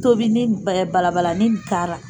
N tobini balabalani in k'a ra.